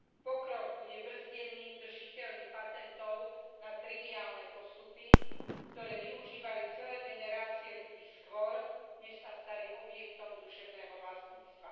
Pokrok bude brzdený držiteľmi patentov na triviálne postupy, ktoré využívali celé generácie ľudí skôr, než sa stali objektom duševného vlastníctva.